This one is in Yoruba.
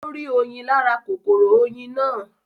Ó rí oyin lára kòkòrò oyin náà